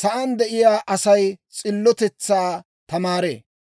sa'aan de'iyaa Asay s'illotetsaa tamaaree.